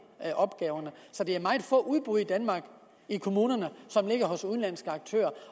opgaverne så det er meget få udbud i danmark i kommunerne som ligger hos udenlandske aktører